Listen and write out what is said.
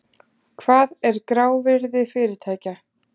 Hvað er grávirði fyrirtækja?